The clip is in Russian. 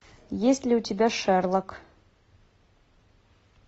есть ли у тебя шерлок